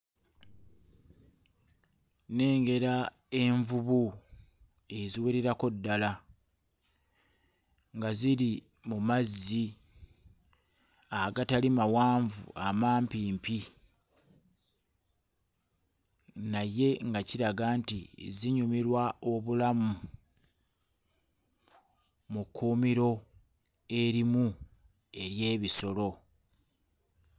Nnengera envubu eziwererako ddala nga ziri mu mazzi agatali mawanvu amampimpi naye nga kiraga nti zinyumirwa obulamu mu kkuumiro erimu ery'ebisolo.